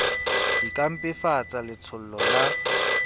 di ka mpefatsa letshollo la